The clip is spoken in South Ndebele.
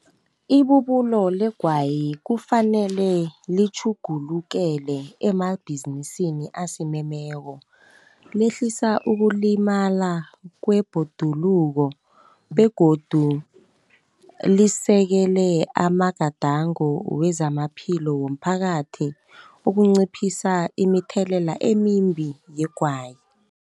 Ibubulo legwayi kufanele litjhugulukele emabhizinisini asimemeko, lehlisa ukulimala kwebhoduluko, begodu lisekele amagadango wezamaphilo womphakathi ukunciphisa imithelela emimbi yegwayi.